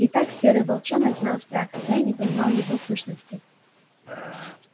итак серый волчонок знал страх хотя и не понимал его сущности